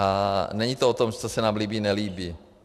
A není to o tom, co se nám líbí, nelíbí.